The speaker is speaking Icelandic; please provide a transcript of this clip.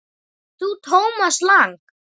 Ert þú Thomas Lang?